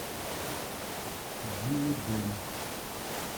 биодом